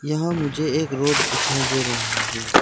यहां मुझे एक रोड दिखाई दे रहा है।